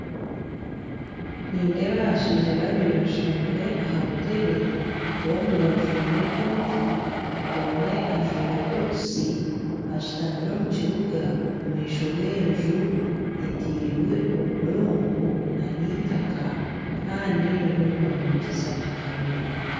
Nindeeba abashaija babiri bashutamire aha buteebe bombi bajwire ekooti omwe ajwire butusi, bashitamire omu kibuga omu maisho g'enju etirwe obudongo na itaka Kandi bariyo nibahurukiiriza akareediyo.